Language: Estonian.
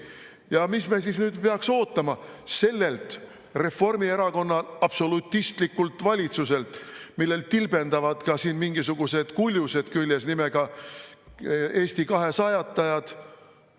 Ja mida me siis nüüd peaks ootama sellelt Reformierakonna absolutistlikult valitsuselt, millel tilbendavad ka siin mingisugused kuljused küljes nimega Eesti kahesajatajad?